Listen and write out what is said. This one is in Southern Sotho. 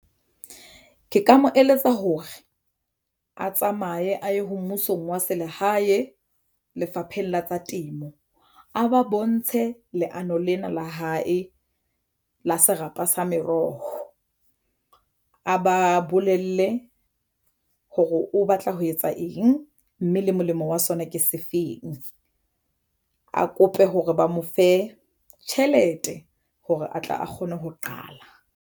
Ke ka mo eletsa hore a tsamaye a ye ho mmusong wa selehae Lefapheng la tsa Temo a ba bontshe leano lena la hae la serapa sa meroho a ba bolelle hore o batla ho etsa eng mme le molemo wa sona ke sefeng. A kope hore ba mo fe tjhelete hore atle a kgone ho qala.